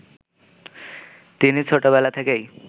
তিনি ছোটবেলা থেকেই